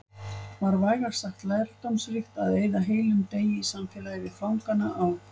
Var vægast sagt lærdómsríkt að eyða heilum degi í samfélagi við fangana á